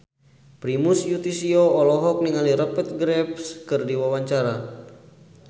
Primus Yustisio olohok ningali Rupert Graves keur diwawancara